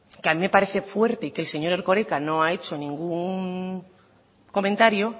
que a mí me parece fuerte que el señor erkoreka no ha hecho ningún comentario